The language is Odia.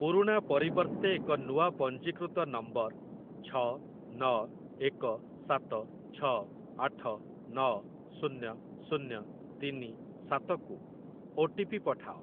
ପୁରୁଣା ପରିବର୍ତ୍ତେ ଏକ ନୂଆ ପଞ୍ଜୀକୃତ ନମ୍ବର ଛ ନ ଏକ ସାତ ଛ ଆଠ ନ ଶୂନ୍ୟ ଶୂନ୍ୟ ତିନି ସାତ କୁ ଓ ଟି ପି ପଠାଅ।